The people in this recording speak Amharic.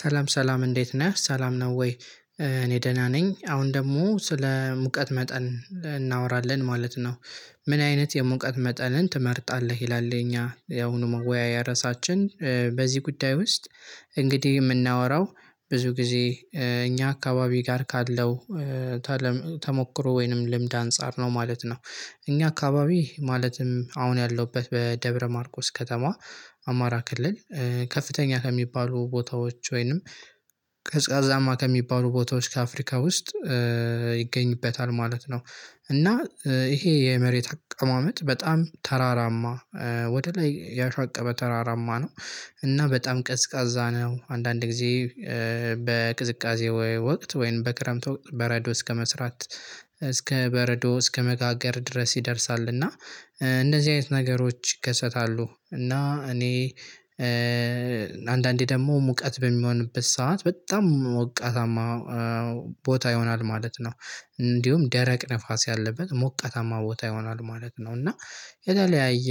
ሰላም ሰላም እንዴት ነህ ሰላም ነው ወይ? እኔ ደህና ነኝ አሁን ደግሞ ስለ ሙቀት መጠን እናወራለን ማለት ነው። ምን አይነት የሙቀት መጠንን ትመርጣለህ ይላል? እኛ ያሁኑ መወያያ ርዕሳችን በዚህ ጉዳይ ውስጥ እንግዲህ የምናወራው ብዙ ጊዜ እኛ አካባቢ ጋር ካለው ተሞክሮ ወይንም ልምድ አንፃር ነው ማለት ነው። እኛ አካባቢ ማለትም አሁን ያለሁበት በደብረ ማርቆስ ከተማ። አማራ ክልል። ከፍተኛ ከሚባሉ ቦታዎች ወይንም ቅዝቃዜማ ከሚባሉ ቦታዎች ከአፍሪካ ውስጥ ይገኝበታል ማለት ነው። እና ይሄ የመሬት አቀማመጥ በጣም ተራራማ ወደ ላይ ያሻቀበ ተራራማ ነው። እና በጣም ቅዝቃዛ ነው አንዳንድ ጊዜ። በቅዝቃዜ ወቅት ወይም በክረምት ወቅት በረዶ እስከመስራት እስከ በረዶ እስከመጋገር ድረስ ይደርሳል። እና እነዚህ አይነት ነገሮች ይከሰታሉ። እና እኔ አንዳንዴ ደግሞ ሙቀት በሚሆንበት ሰዓት በጣም ሞቃታማ ቦታ ይሆናል ማለት ነው። እንዲሁም ደረቅ ንፋስ ያለበት ሞቀታማ ቦታ ይሆናል ማለት ነው። እና የተለያየ